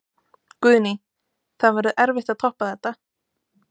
Guðný: Það verður erfitt að toppa þetta?